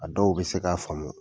A dɔw bɛ se k'a faamu